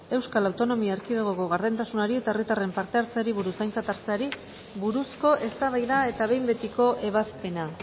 euskal autonomia erkidegoko gardentasunari eta herritarren parte hartzeari buruz aintzat hartzeari buruzko eztabaida eta behin betiko ebazpena